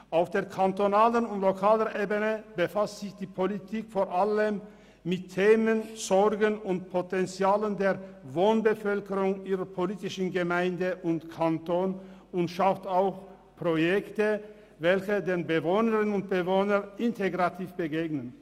Auf der kantonalen und lokalen Ebene befasst sich die Politik vor allem mit Themen, Sorgen und Potenzialen der Wohnbevölkerung ihrer politischen Gemeinde und des Kantons und schafft auch Projekte, welche den Bewohnerinnen und Bewohnern integrativ begegnen.